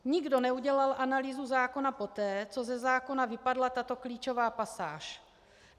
Nikdo neudělal analýzu zákona poté, co ze zákona vypadla tato klíčová pasáž.